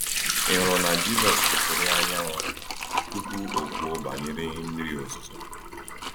Ị hụrụ na Jisọs kwusiri anyanwụ tupu o kwuo banyere mmiri ozuzo?